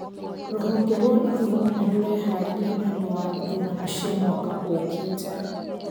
Rũhonge rwa ithurano nĩ rũreharĩria nĩũndũ wa ithurano cia mwaka ũkĩte